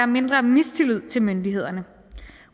mindre mistillid til myndighederne